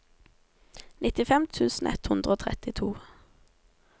nittifem tusen ett hundre og trettito